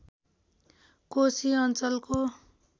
कोशी अञ्चलको